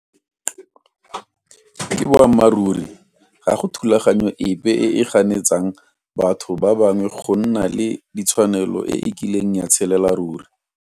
Ke boammaruri ga go thulaganyo epe e e ganetsang batho ba bangwe go nna le ditshwanelo e e kileng ya tshelela saruri.